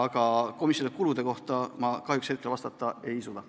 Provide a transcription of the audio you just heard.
Aga komisjoni kulude kohta ma kahjuks hetkel vastata ei suuda.